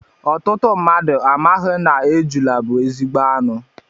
Ọtụtụ mmadụ amaghị na ejula bu ezigbo anụ